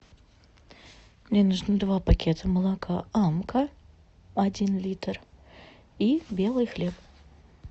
мне нужны два пакета молока амка один литр и белый хлеб